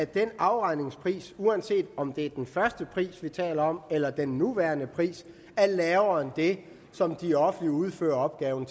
den afregningspris uanset om det er den første pris vi taler om eller den nuværende pris er lavere end det som det offentlige udfører opgaven